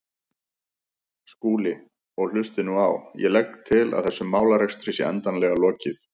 Skúli, og hlustið nú á: Ég legg til að þessum málarekstri sé endanlega lokið.